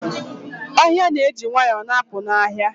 Ohia na-eji nwayọ na-apụ n'anya.